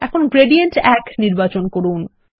এখন গ্রেডিয়েন্ট 1 নির্বাচন করুন